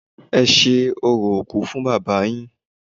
Ẹ ṣe orò òkú fún Bàbá yín!